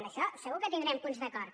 en això segur que tindrem punts d’acord